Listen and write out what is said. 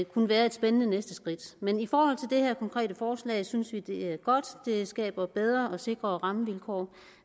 kunne være et spændende næste skridt men i forhold til det her konkrete forslag synes vi det er godt det skaber bedre og sikrere rammevilkår